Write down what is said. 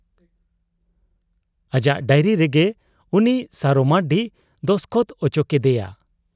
ᱟᱡᱟᱜ ᱰᱟᱭᱨᱤᱨᱮ ᱜᱮ ᱩᱱᱤ ᱥᱟᱨᱚ ᱢᱟᱺᱨᱰᱤ ᱫᱚᱥᱠᱚᱛ ᱚᱪᱚ ᱠᱮᱫᱮᱭᱟ ᱾